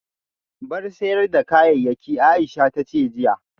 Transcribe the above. Bar sayar da kayayyaki Aisha tace jiya